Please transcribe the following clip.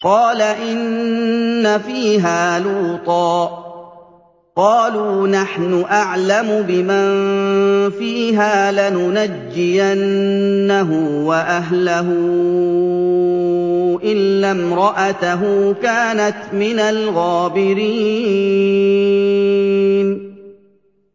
قَالَ إِنَّ فِيهَا لُوطًا ۚ قَالُوا نَحْنُ أَعْلَمُ بِمَن فِيهَا ۖ لَنُنَجِّيَنَّهُ وَأَهْلَهُ إِلَّا امْرَأَتَهُ كَانَتْ مِنَ الْغَابِرِينَ